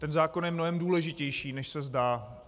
Ten zákon je mnohem důležitější, než se zdá.